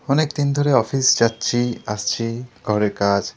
অনেক দিন ধরে অফিস যাচ্ছি আসছি। ঘরে কাজ--